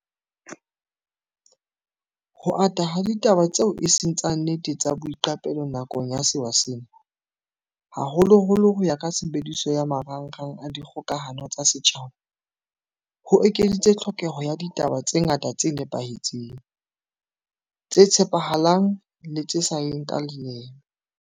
Ho ata ha ditaba tseo eseng tsa nnete tsa boiqapelo nakong ya sewa sena, haholoholo ho ya ka tshebediso ya ma rangrang a dikgokahano tsa setjhaba, ho ekeditse tlhokeho ya ditaba tse ngata tse nepahetseng, tse tshepa halang le tse sa yeng ka leeme.